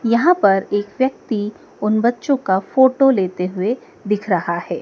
यहां पर एक व्यक्ति उन बच्चों का फोटो लेते हुए दिख रहा है।